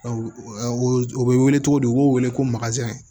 u bɛ wele cogo di u b'o wele ko